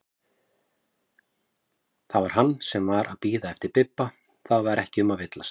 Það var hann sem var að bíða eftir Bibba, það var ekki um að villast!